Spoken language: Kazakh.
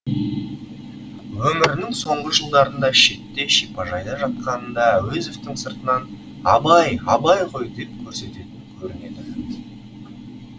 өмірінің соңғы жылдарында шетте шипажайда жатқанында әуезовтің сыртынан абай абай ғой деп көрсететін көрінеді